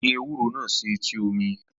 Ó gbin ewúro náà sí etí omi